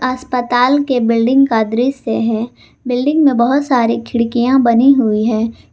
अस्पताल के बिल्डिंग का दृश्य है बिल्डिंग में बहुत सारी खिड़कियां बनी हुई है।